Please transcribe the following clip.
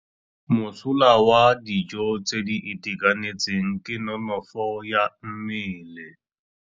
Mosola wa dijô tse di itekanetseng ke nonôfô ya mmele.